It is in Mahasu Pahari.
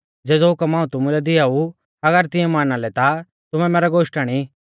ज़ेज़ौ हुकम हाऊं तुमुलै दिआऊ अगर तिऐं माना लै ता तुमै मैरै गोश्टण ई